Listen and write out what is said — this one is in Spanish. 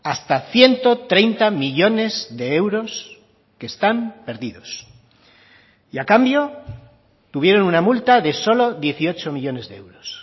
hasta ciento treinta millónes de euros que están perdidos y a cambio tuvieron una multa de solo dieciocho millónes de euros